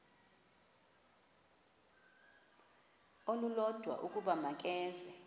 olulodwa ukuba makeze